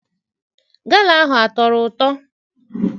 Gala ahụ atọrọ ụtọ?